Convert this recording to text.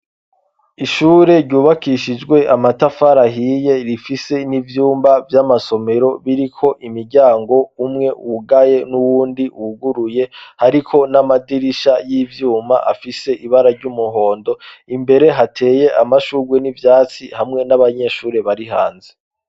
Ishure ryubakishijwe amatafari ahiye, rifise n'ivyumba vy'amasomero biriko imiryango umwe wugaye n'uwundi wuguruye, hariko n'amadirisha y'ivyuma afise ibara ry'umuhondo, imbere hateye amashurwe n'ivyatsi hamwe n'abanyeshuri bari hanze.